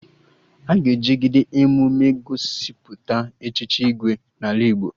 Aga ejigide emume egosipụta Echichi Igwe n'ala Igbo